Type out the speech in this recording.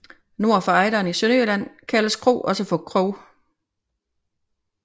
Nord for Ejderen i Sønderjylland kaldes kro også for krog